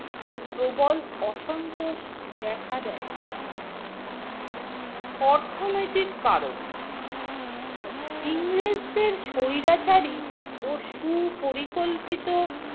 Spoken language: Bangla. ও প্রবল অসন্তোষ দেখা দেয়। অর্থনৈতিক কারণ - ইংরেজদের স্বৈরাচারী ও সুপরিকল্পিত